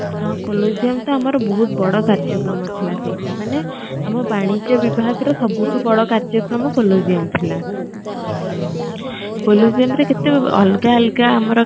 ହଁ colliseum ତ ଆମର ବହୁତ ବଡ଼ କାର୍ଯ୍ୟକ୍ରମ ଥିଲା ସେଇଟା ମାନେ ଆମ ବାଣିଜ୍ୟ ବିଭାଗ ର ସବୁଠୁ ବଡ଼ କାର୍ଯ୍ୟକ୍ରମ colliseum ଥିଲା colliseum ରେ କେତେ ଅଲଗା ଅଲଗା ଆମର